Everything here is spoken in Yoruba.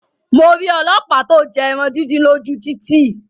Mo rí ọlọ́pàá to jẹ ẹran díndín lóju títì